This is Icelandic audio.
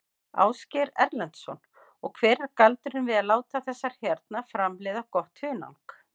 Ásgeir Erlendsson: Og hver er galdurinn við að láta þessar hérna framleiða gott hunang?